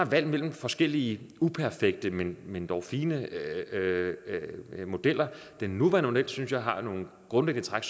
valg mellem forskellige uperfekte men men dog fine modeller den nuværende model synes jeg har nogle grundlæggende træk